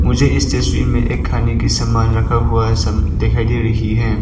मुझे इस तस्वीर में एक खाने की सामान रखा हुआ है सब दिखाई दे रही है।